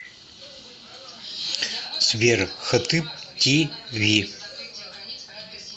сбер хатыб ти ви